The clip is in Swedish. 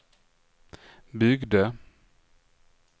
byggde